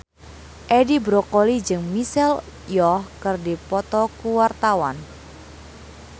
Edi Brokoli jeung Michelle Yeoh keur dipoto ku wartawan